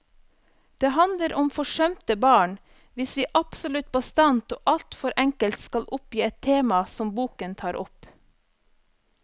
Det handler om forsømte barn, hvis vi absolutt bastant og alt for enkelt skal oppgi et tema som boken tar opp.